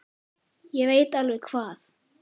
Ég veit alveg hvað